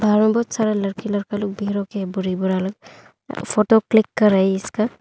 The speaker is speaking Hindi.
बहुत सारा लड़की लड़का लोग फोटो क्लिक कर रहा है इसका।